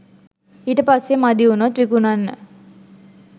ඊට පස්සෙ මදි වුණොත් විකුණන්න